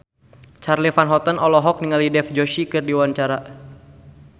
Charly Van Houten olohok ningali Dev Joshi keur diwawancara